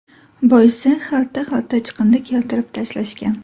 Boisi, xalta-xalta chiqindi keltirib tashlashgan.